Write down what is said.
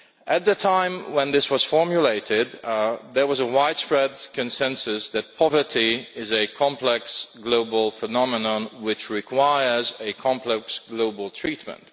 At the time when this was formulated there was a widespread consensus that poverty is a complex global phenomenon which requires complex global treatment.